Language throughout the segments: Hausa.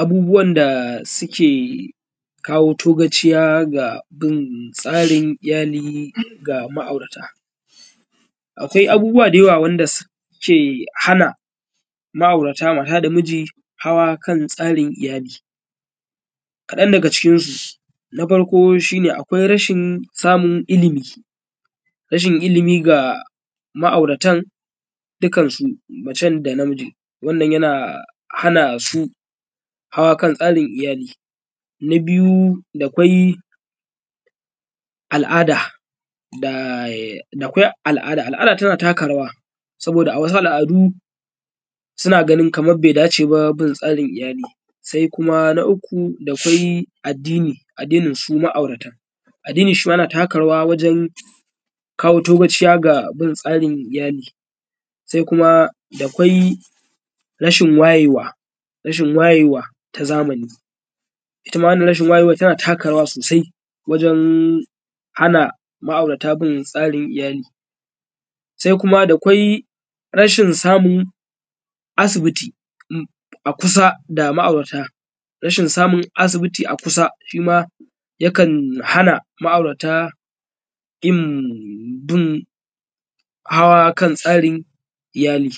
abubuwan da suke kawo togaciya ga bin tsarin iyali ga ma’aurata akwai abubuwa da yawa wanda suke hana ma’aurata mata da miji hawa kan tsarin iyali kaɗan daga cikinu na farko shi ne akwai rashin samun ilimi rashin ilimi ga ma’auratan dukansu macen da namijin wannan yana hana su hawa kan tsarin iyali na biyu dakwai al’ada da dakwai al’ada al’ada tana taka rawa saboda a wasu al’adu suna ganin kamar bai dace ba bin tsarin iyali sai kuma na uku dakwai addini addinin su ma’auratan addini shi ma yana taka rawa wajen wajen kawo togaciya ga bin tsarin iyali sai kuma dakwai rashin wayewa rashin wayewa ta zamani ita ma wannan rashin wayewar tana taka rawa sosai wajen hana ma’aurata bin tsarin iyali sai kuma dakwai rashin samun asibiti a kusa da ma’aurata rashin samun asibiti a kusa shi ma yakan hana ma’aurata yin bin hawa: kan tsa:rin ija:li: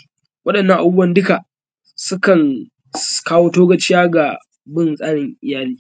waɗannan abu:buwan duka sukan ka:wo to:gaʧija: ga bin tsa:rin ija:li: